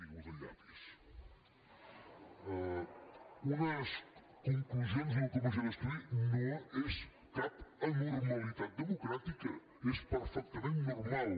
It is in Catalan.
ara m’ha caigut el llapis d’una comissió d’estudi no és cap anormalitat democràtica és perfectament normal